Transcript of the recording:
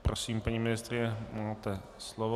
Prosím, paní ministryně, máte slovo.